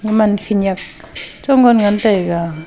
gaman khenyak chongan ngan taiga.